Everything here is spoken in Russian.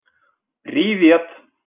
привет